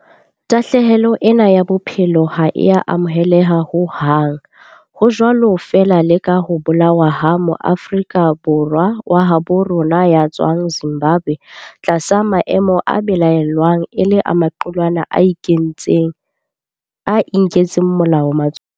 Tahlehelo ena ya bophelo ha e a amoheleha ho hang, ho jwalo feela le ka ho bolawa ha Moafrika wa habo rona ya tswang Zimbabwe tlasa maemo a belaellwang e le a maqulwana a inketseng molao matsohong.